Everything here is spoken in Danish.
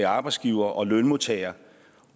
arbejdsgivere og lønmodtagere